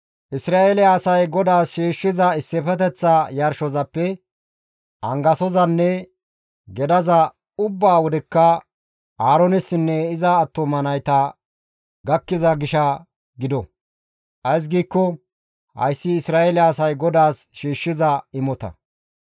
Isra7eele asay GODAAS shiishshiza issifeteththa yarshozappe angasozanne gedaza ubba wodekka Aaroonessinne iza attuma nayta gakkiza gisha gido. Ays giikko hayssi Isra7eele asay GODAAS shiishshiza imota.